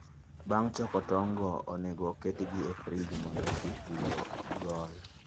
Bang' choko tong'go, onego oketgi e frij mondo kik giol.